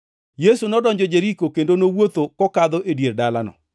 Yesu nodonjo Jeriko, kendo nowuotho kokadho e dier dalano.